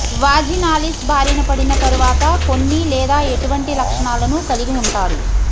vaginalis బారిన పడిన తరువాత కొన్ని లేదా ఎటువంటి లక్షణాలను కలిగి ఉంటారు